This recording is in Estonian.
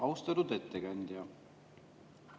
Austatud ettekandja!